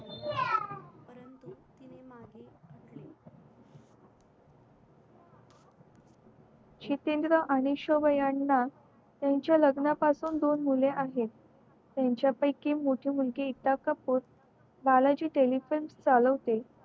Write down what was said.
जितेंद्र आणि शोभा याना त्याच्या लग्ना पासून दोन मुले आहेत आहे त्याच्या पयकी मोठी मुलगी ऐकता कपूर बालाजी चालवते